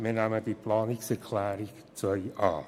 Wir nehmen die Planungserklärung 2 an.